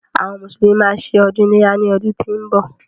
Àwọn mùsùlùmí má a ṣe ọdún iléyá ní ọdún tí ó ń bọ̀.